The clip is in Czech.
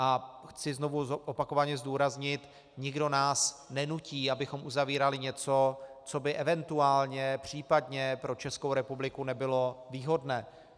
A chci znovu, opakovaně zdůraznit, nikdo nás nenutí, abychom uzavírali něco, co by eventuálně, případně, pro Českou republiku nebylo výhodné.